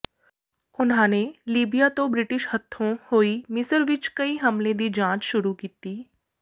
ਉਨ੍ਹਾਂ ਨੇ ਲੀਬੀਆ ਤੋਂ ਬ੍ਰਿਟਿਸ਼ ਹੱਥੋਂ ਹੋਈ ਮਿਸਰ ਵਿੱਚ ਕਈ ਹਮਲੇ ਦੀ ਜਾਂਚ ਸ਼ੁਰੂ ਕੀਤੀ